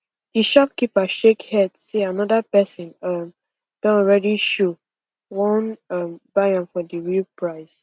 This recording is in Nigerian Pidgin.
the shopkeeper shake head say another person um don already show won um buy am for dey real price